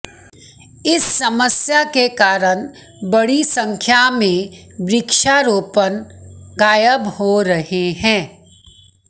इस समस्या के कारण बड़ी संख्या में वृक्षारोपण गायब हो रहे हैं